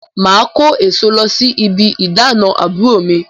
Màá kó èso lọ sí ibi ìdána àbúrò mi